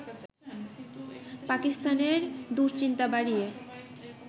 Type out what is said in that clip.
পাকিস্তানের দুশ্চিন্তা বাড়িয়ে